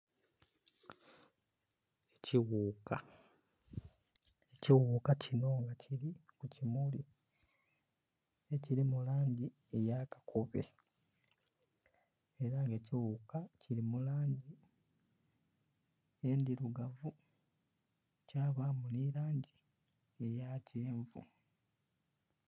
Ekighuka, ekighuka kinho nga kiri ku kimuli ekiri mu langi eya kakobe era nga ekighuka kiri mu langi endhirugavu kyabamu nhi langi eya kyenvu.